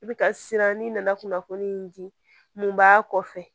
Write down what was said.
I bɛ ka siran ne nana kunnafoni di mun b'a kɔfɛ